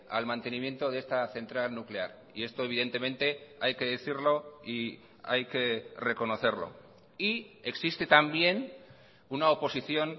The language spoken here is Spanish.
al mantenimiento de esta central nuclear y esto evidentemente hay que decirlo y hay que reconocerlo y existe también una oposición